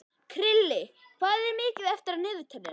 Krilli, hvað er mikið eftir af niðurteljaranum?